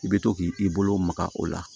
I bɛ to k'i bolo maga o la